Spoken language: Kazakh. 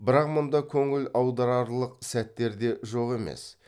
бірақ мұнда көңіл аударарлық сәттер де жоқ емес